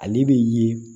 Ale bɛ ye